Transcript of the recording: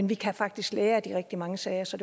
vi kan faktisk lære af de rigtig mange sager så